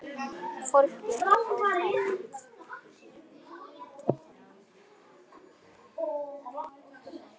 Fólk mitt er fátækt.